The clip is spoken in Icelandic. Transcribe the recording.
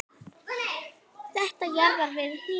Þetta jaðrar við hnýsni.